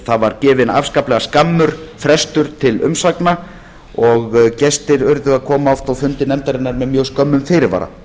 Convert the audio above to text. það var gefinn afskaplega skammur frestur til umsagna og gestir urðu að koma oft á fundi nefndarinnar með mjög skömmum fyrirvara